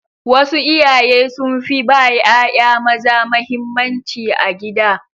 Wasu iyaye sun fi ba ƴaƴa maza mahimmanci a gida.